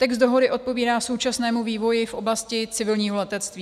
Text dohody odpovídá současnému vývoji v oblasti civilního letectví.